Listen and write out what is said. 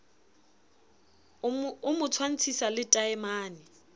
o mo tshwantshisa le taemane